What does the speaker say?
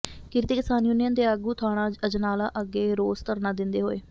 ਕਿਰਤੀ ਕਿਸਾਨ ਯੂਨੀਅਨ ਦੇ ਆਗੂ ਥਾਣਾ ਅਜਨਾਲਾ ਅੱਗੇ ਰੋਸ ਧਰਨਾ ਦਿੰਦੇ ਹਏ